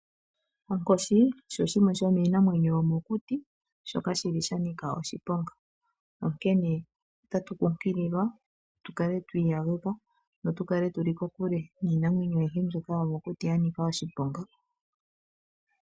Onkoshi osho shimwe shomiinamwenyo yo mokuti shoka shili sha nika oshiponga, onkene otatu kunkililwa tu kale twii yaludha notu kale tuli kokule niinamwenyo ayihe mbyono yomokuti ya nika oshiponga.